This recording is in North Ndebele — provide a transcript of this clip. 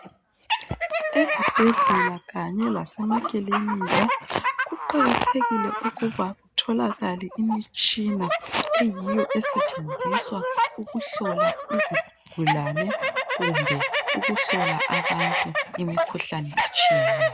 Ezibhedlela kanye lasemakilinika kuqakathekile ukuba kutholakale imitshina eyiyo esetshenziswa ukuhlola izigulane kumbe ukuhlola abantu imikhuhlane ethiyeneyo.